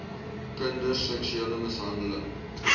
kinder seksuele mishandeling